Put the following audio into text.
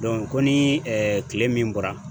ko ni kile min bɔra.